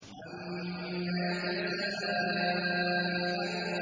عَمَّ يَتَسَاءَلُونَ